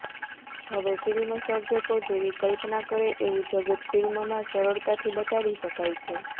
હવે ફિલ્મ સર્જકો જેવી કલ્પના કરે એવું જગત ફિલ્મમાં સરળતાથી બતાવી શકાય છે